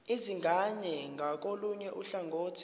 izingane ngakolunye uhlangothi